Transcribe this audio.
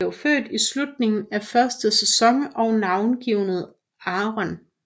Han blev født i slutningen af første sæson og navngivet Aaron